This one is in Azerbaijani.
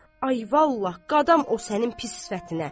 Ay, vallahi, qadam o sənin pis sifətinə!